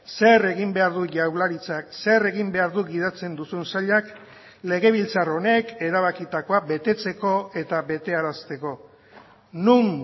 zer egin behar du jaurlaritzak zer egin behar du gidatzen duzun sailak legebiltzar honek erabakitakoa betetzeko etabetearazteko non